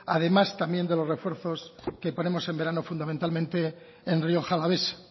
además también de los refuerzos que ponemos en verano fundamentalmente en rioja alavesa